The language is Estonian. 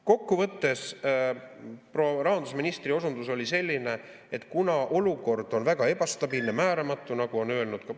Kokkuvõttes proua rahandusministri osundus oli selline, et kuna olukord on väga ebastabiilne, määramatu, nagu on öelnud ka ...